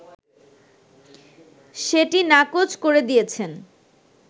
সেটি নাকচ করে দিয়েছেন